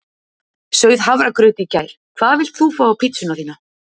Sauð hafragraut í gær Hvað vilt þú fá á pizzuna þína?